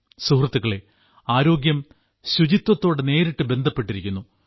സുഹൃത്തുക്കളേ ആരോഗ്യം ശുചിത്വത്തോട് നേരിട്ട് ബന്ധപ്പെട്ടിരിക്കുന്നു